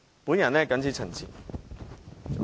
我謹此陳辭。